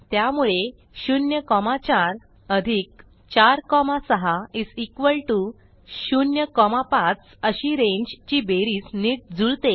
त्यामुळे 0 4 4 6 0 5 अशी रांगे ची बेरीज नीट जुळते